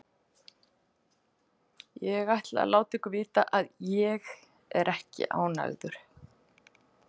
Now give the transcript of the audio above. Ég ætla að láta ykkur vita það að ÉG er ekki ánægður.